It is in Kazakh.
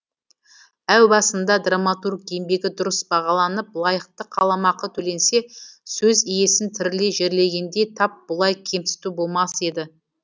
әу басында драматург еңбегі дұрыс бағаланып лайықты қаламақы төленсе сөз иесін тірілей жерлегендей тап бұлай кемсіту болмас еді